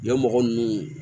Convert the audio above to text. Yan mɔgɔ nunnu